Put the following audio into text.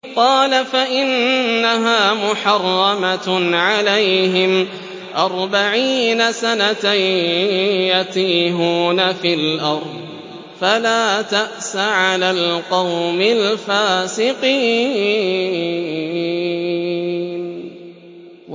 قَالَ فَإِنَّهَا مُحَرَّمَةٌ عَلَيْهِمْ ۛ أَرْبَعِينَ سَنَةً ۛ يَتِيهُونَ فِي الْأَرْضِ ۚ فَلَا تَأْسَ عَلَى الْقَوْمِ الْفَاسِقِينَ